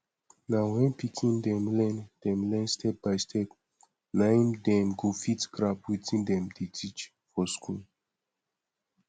na wen pikin dem learn dem learn stepbystep na im dem go fit grab wetin dem dey teach for school